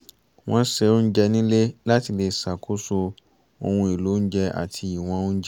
wọ́n ṣe oúnjẹ nílé láti lè ṣàkóso ohun èlò oúnjẹ àti ìwọ̀n oúnjẹ